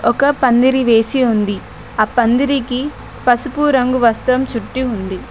ఒక పందిరి వేసి ఉంది ఆ పందిరికి పసుపు రంగు వస్త్రం చుట్టి ఉంది.